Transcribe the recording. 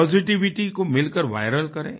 positivity को मिलकर विरल करें